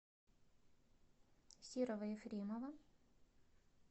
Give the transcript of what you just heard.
серого ефремова